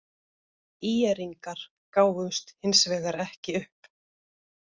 ÍR-ingar gáfust hins vegar ekki upp.